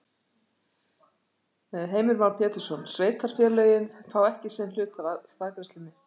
Heimir Már Pétursson: Sveitarfélögin fá ekki sinn hlut af staðgreiðslunni?